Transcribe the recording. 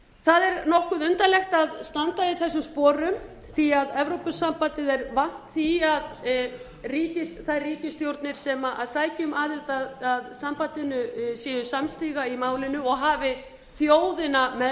það er nokkuð undarlegt að standa í þessum sporum því að evrópusambandið er vant því að þær ríkisstjórnir sem sækja um aðild að sambandinu séu samstiga í málinu og hafi þjóðina með